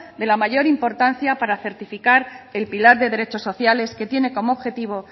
de la mayor importancia para certificar el pilar de derechos sociales que tiene como objetivo